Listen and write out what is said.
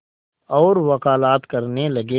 और वक़ालत करने लगे